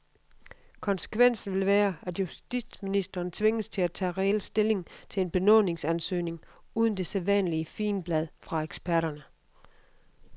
Konsekvensen vil være, at justitsministeren tvinges til at tage reel stilling til en benådningsansøgning uden det sædvanlige figenblad fra eksperterne.